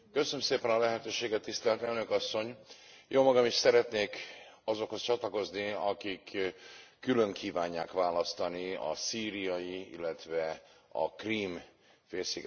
Jómagam is szeretnék azokhoz csatlakozni, akik külön kívánják választani a szíriai illetve a Krím félsziget esetén történt szovjet beavatkozásokat.